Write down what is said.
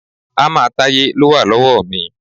Hámà Táyé ló wà lọ́wọ́ mi.